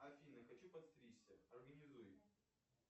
афина хочу подстричься организуй